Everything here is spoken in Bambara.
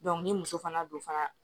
ni muso fana don fana